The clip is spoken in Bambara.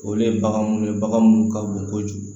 Olu ye bagan mun ye bagan munnu ka bon kojugu